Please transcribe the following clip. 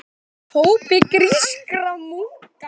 hópi grískra munka.